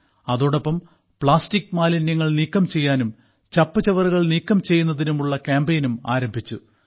അതോടൊപ്പം പ്ലാസ്റ്റിക് മാലിന്യങ്ങൾ നീക്കം ചെയ്യാനും ചപ്പുചവറുകൾ നീക്കം ചെയ്യുന്നതിനുമുളള കാമ്പയിനും ആരംഭിച്ചു